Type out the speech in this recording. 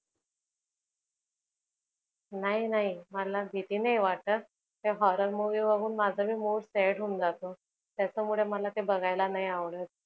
नाही नाही मला भीती नाही वाटत, त्या horror movie बघून माझा mood sad होऊन जातो. त्याच्यामुळे मला ते बघायला नाही आवडत.